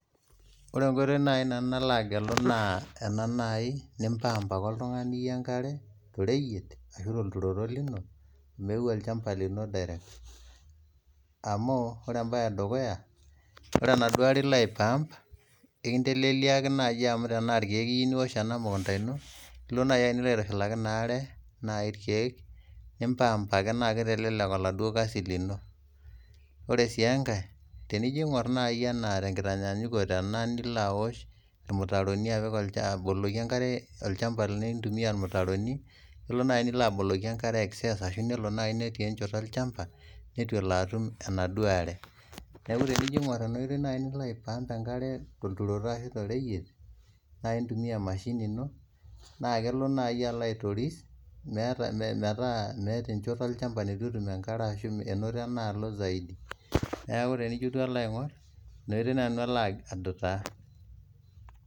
Ore enkoitoi naii nanu nalo agelu naa ena naii nimpaamp ake ltungani enkare to royiet ashu te lturoto meeu olchamba lino direct amuu ore embaye edukuya naa nado are ilo aipaamp nikinteleleliaki naai amu ore tenaa irkeek iyeu niosh ana mukunta ino nilo naii aitushulaki enaare naai irkeek nimpaamp ake naa keitelelek enado kasi lino, ore sii enkae tenijo eing'orr nai te enkitanyanyukuto ena nilo aosh irmitaroni aboloki inkare olchamba lino aitumiyaa irmitaroni nilo naii aboloki inkare excess ashu nelo netii enchoto olchamba netu alo atum enado aare, naaku ore tiniijo aing'orr ena oitei nilo ajo aipaamp nkare te lturoto ashu te roiyet na intumiya emashini ino naa kelo naii alo aitoris metaa meeta enchoto elchamba netu etum enkare ashu enoto enaalo zaidi, neaku tenijo alotu alo aing'orr ntokitin nena niko adutaa.